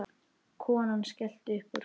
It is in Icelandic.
Konan skellti upp úr.